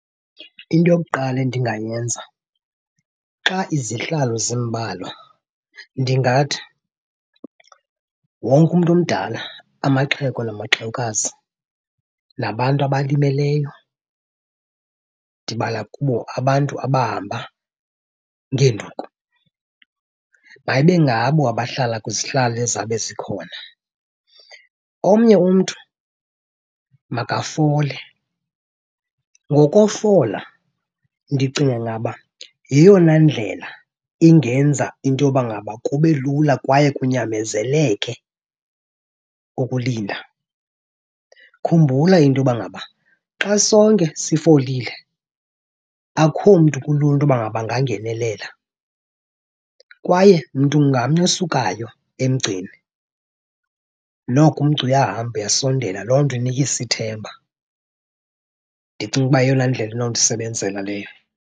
Into yokuqala endingayenza xa izihlalo zimbalwa ndingathi wonke umntu omdala, amaxhego namaxhewukazi, nabantu abalimeleyo ndibala kubo abantu abahamba ngeenduku, mayibe ngabo abahlala kwizihlalo ezizawube zikhona. Omnye umntu makafole. Ngokofola ndicinga uba yeyona ndlela ingenza into yoba ngaba kube lula kwaye kunyamezeleke ukulinda. Khumbula into yoba ngaba xa sonke sifolile akho mntu kulula into yoba ngaba angangenelela. Kwaye mntu ngamnye osukayo emgceni noko umgca uyahamba, uyasondela, loo nto inikisa ithemba. Ndicinga ukuba yeyona ndlela inondisebenzela leyo.